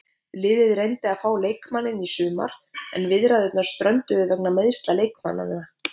Liðið reyndi að fá leikmanninn í sumar en viðræðurnar strönduðu vegna meiðsla leikmannanna.